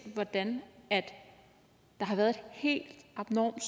hvordan der har været helt abnormt